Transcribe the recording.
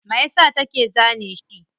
Mayasa take zane shi?